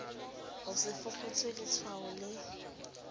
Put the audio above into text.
ho se fokotswe letshwao le